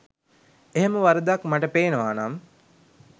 එහෙම වරදක් මට පේනවා නම්